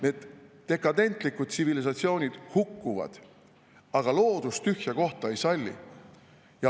Need dekadentlikud tsivilisatsioonid hukkuvad, aga loodus tühja kohta ei salli.